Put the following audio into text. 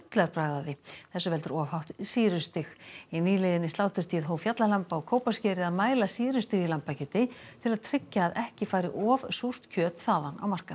af því þessu veldur of hátt sýrustig í nýliðinni sláturtíð hóf Fjallalamb á Kópaskeri að mæla sýrustig í lambakjöti til að tryggja að ekki fari of súrt kjöt þaðan á markað